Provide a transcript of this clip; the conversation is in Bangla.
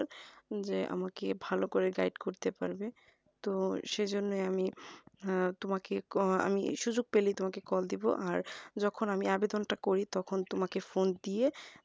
যে আমাকে ভালো করে guide করতে পারবে তো সেইজন্য আমি আহ তোমাকে আমি সুযোগ পেলেই call দিবো আর যখন আমি আবেদনটা করি তোমাকে phone